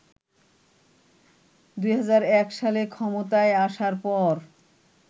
২০০১ সালে ক্ষমতায় আসার পর